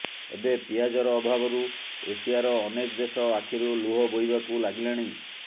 ଏବେ ପିଆଜର ଅଭାବରୁ ଏସିଆର ଅନେକ ଦେଶ ଆଖିରୁ ଲୁହ ବୋହିବାକୁ ଲାଗିଲାଣି